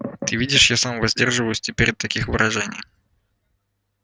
ты видишь я сам воздерживаюсь теперь от таких выражений